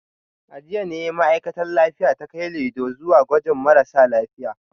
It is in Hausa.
A jiya ne ma’aikatar lafiya ta kai Laido zuwa gajin marasa lafiya